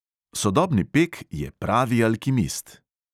Sodobni pek je pravi alkimist.